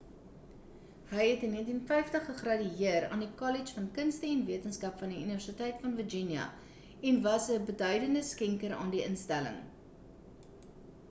hy het in 1950 gegradueer aan die kollege van kunste en wetenskap van die universiteit van virginia en was 'n beduidende skenker aan die instelling